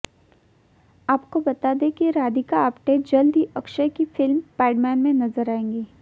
आपको बता दें की राधिका आप्टे जल्द ही अक्षय की फिल्म पैडमैन में नजर आएंगी